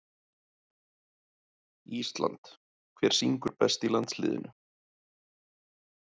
Ísland Hver syngur best í landsliðinu?